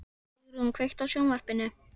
Sigrún, kveiktu á sjónvarpinu.